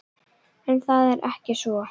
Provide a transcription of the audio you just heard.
En það er ekki svo.